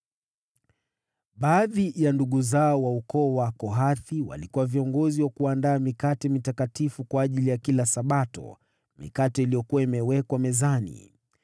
Baadhi ya ndugu zao wa ukoo wa Kohathi walikuwa viongozi wa kuandaa mikate ya Wonyesho kwa ajili ya kila Sabato, mikate iliyokuwa inawekwa mezani.